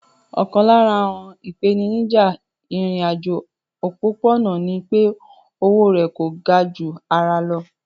Ọ̀kan lára àwọn ìpèníjà ìrìn àjò òpópó-ọ̀nà ní pé o owó rẹ̀ kò ga ju ara lọ